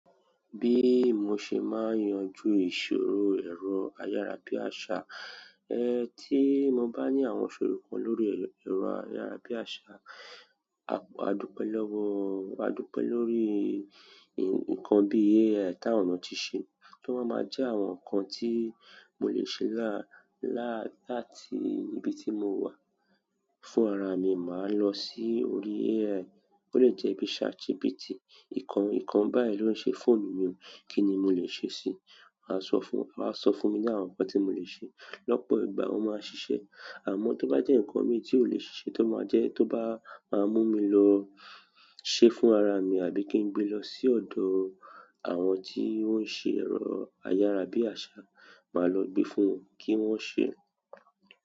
Bí mo ṣe máa yanjú ìṣòro ẹ̀rọ ayára bí àṣá, tí mo bá ní àwọn ìṣòro kan lórí ẹ̀rọ ayára bí àṣá, àdúpẹ̀ lọ́wọ́, àdúpẹ̀ lórí nǹkan bí AI tá àwọn eeyan tí se, tí wọ́n ma ma jẹ́ àwọn nǹkan tí mo lè ṣe láti níbi tí mo wà fún ara mi, màá lọ sí orí AI. Ó lè jẹ́ bí ChatGPT, nǹkan, nǹkan báyìí ló ń ṣe fóònù mi, kí ni mo lè ṣe sí i? Máa sọ fún, a wa sọ fún mi ní àwọn nǹkan tí mo lè ṣe. Lọ́pọ̀ ìgbà, wọ́n máa ṣiṣẹ́. Àmọ́ tó bá jẹ́ nǹkan mi tí ó lè ṣise tó máa jẹ́ tó bá máa mú mi lọ ṣe fún ara mi àbí kí n gbé lọ sí ọ̀dọ̀ àwọn tí wọ́n ṣe ẹ̀rọ ayára bí àṣá, màá lọ gbé fún wọn kí wọ́n ṣe.